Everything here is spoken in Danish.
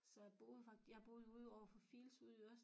Så jeg boede jeg ude over for Fields ude i Ørestaden